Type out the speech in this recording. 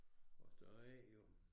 Og så er det jo